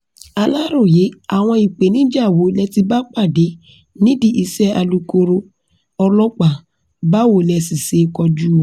Alaroye, awọn ipenija wo lẹti ba pade nidi ise alukoro ọlọpa, bawo lẹsi se kọju wọn